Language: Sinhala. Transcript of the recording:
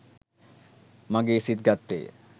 මගේ සිත් ගත්තේය